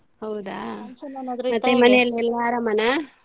ಹೌದಾ ಮನೆಯಲ್ಲೆಲ್ಲ ಆರಾಮನಾ?